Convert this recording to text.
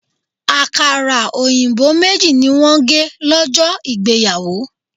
Àkàrà òyìnbó méjì ni wọ́n gé lọ́jọ́ ìgbéyàwó.